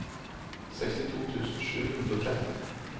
sekstito tusen sju hundre og tretten